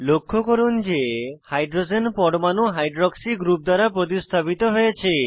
লক্ষ্য করুন যে হাইড্রোজেন পরমাণু হাইড্রক্সি গ্রুপ দ্বারা প্রতিস্থাপিত হয়েছে